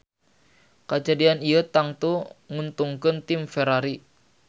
Kajadian ieu tangtu nguntungkeun tim Ferrari.